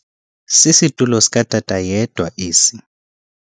Sisitulo sikatata yedwa esi.